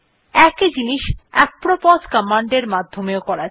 একই জিনিস apropos command এর মাধ্যমে ও করা যায়